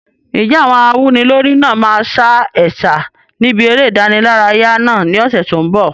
Ǹjẹ́ àwọn awúnilórí náà máa sa ẹ̀sà níbi eré ìdárayá náà ní ọ̀sẹ̀ tó ń bọ̀?